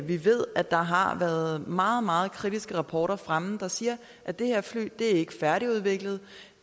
vi ved at der har været meget meget kritiske rapporter fremme der siger at det her fly ikke er færdigudviklet